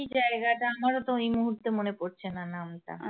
কী জায়গা টা আমারো তো এই মুহুর্তে মনে পড়ছে না নাম টা